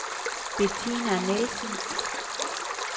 Betina Nielsen